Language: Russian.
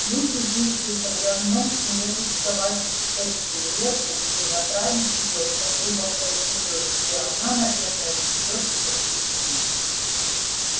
люди жившие тогда в нем сумели сковать эту реку и направить её по трубам под землёй где она наверное течёт и по сей день